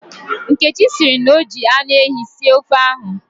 Nkechi sịrị na o ji anụehi sie ofe ahụ.